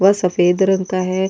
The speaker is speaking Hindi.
व सफेद रंग का है।